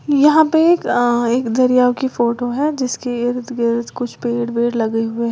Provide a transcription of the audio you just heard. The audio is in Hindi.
यहां पे एक अ एक दरिया की फोटो है जिसके इर्द गिर्द कुछ पेड़ लगे हुए हैं।